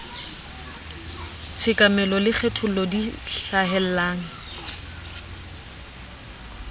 tshekamelo le kgethollo di hlahellang